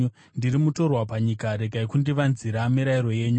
Ndiri mutorwa panyika; regai kundivanzira mirayiro yenyu.